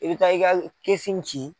I bɛ taa i ka kɛsi cin.